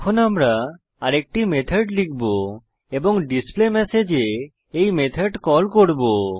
এখন আমরা আরেকটি মেথড লিখব এবং ডিসপ্লেমেসেজ এ এই মেথড কল করব